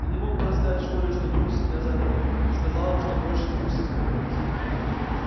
ты не мог бы рассказать в школе что дурсли меня заперли и сказали что больше не пустят в хогвартс